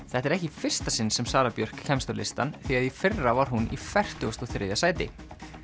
þetta er ekki í fyrsta sinn sem Sara Björk kemst á listann því að í fyrra var hún í fertugasta og þriðja sæti